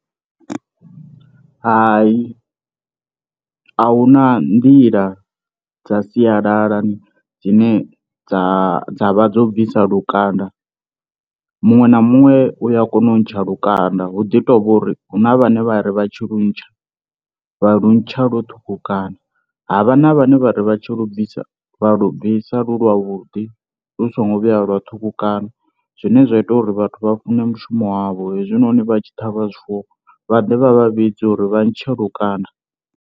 Hai, a hu na nḓila dza sialala dzine dza dza vha dzo bvisa lukanda. Muṅwe na muṅwe uya kona u ntsha lukanda hu ḓi tovha uri huna vhane vhari vha tshi lu ntsha vha lu ntsha lwo ṱhukhukana, havha na vhane vhari vha tshi lu bvisa vha lu bvisa lu lwa vhuḓi lu songo vhuya lwa ṱhukhukana, zwine zwa ita uri vhathu vha fune mushumo wavho hezwinoni vha tshi ṱhavha zwifuwo vhaḓe vha vha vhidze uri vha ntshe lukanda.